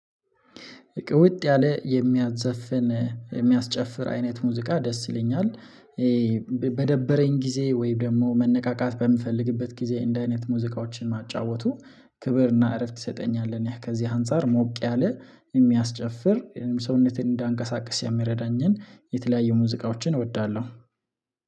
ወጥ ያለ የሚያዘፍን የሚያስጨፍር አይነት ሙዚቃ ደስ ይለኛል። በደበረኝ ጊዜ ወይም ደግሞ መነቃቃት በምፈልግበት ጊዜ እንዲህ አይነት ሙዚቃዎችን ማጫወቱ ክብር እና እረፍት ይሰጠኛል። እኔ ከዚህ አንፃር ሞቅ ያለ የሚያስጨፍር ሰውነቴን እንዳንቀሳቅስ የሚረዳኝን የተለያዩ ሙዚቃዎችን እወዳለሁ።